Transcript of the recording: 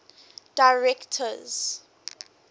directors